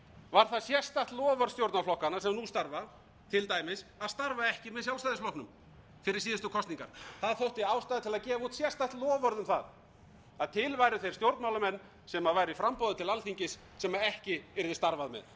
var það sérstakt loforð stjórnarflokkanna sem nú starfa til dæmis að starfa ekki með sjálfstæðisflokknum fyrir síðustu kosningar það þótti ástæða til að gefa út sérstakt loforð um það að til væru þeir stjórnmálamenn sem væru í framboði til alþingis sem ekki yrði starfað með